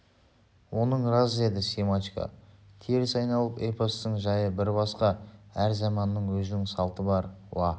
оның рас деді семашко теріс айналып эпостың жайы бір басқа әр заманның өзінің салты бар уа